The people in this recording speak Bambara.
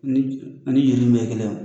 ani kelen